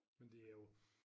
Men det er jo